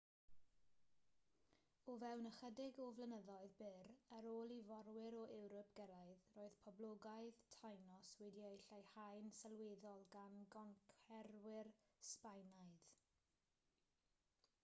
o fewn ychydig o flynyddoedd byr ar ôl i fforwyr o ewrop gyrraedd roedd poblogaeth tainos wedi'i leihau'n sylweddol gan goncwerwyr sbaenaidd